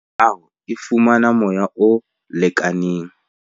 Hore meaho e fumana moya o lekaneng.